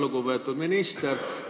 Lugupeetud minister!